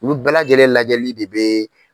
Olu bɛɛ lajɛlen lajɛli de bɛ.